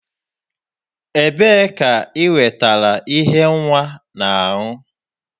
Ebee ka ị nwetara ihe nwa na-aṅụ?